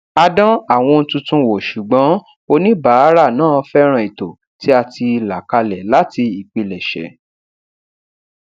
a dán àwọn ohun tuntun wò ṣùgbọn oníbàárà náà fẹràn ètò tí a ti là kalẹ láti ìpilẹsẹ